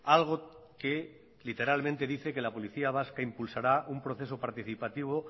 algo que literalmente dice que la policía vasca impulsará un proceso participativo